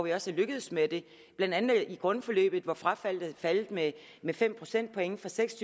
er også lykkedes med det blandt andet i grundforløbet hvor frafaldet er faldet med med fem procentpoint fra seks og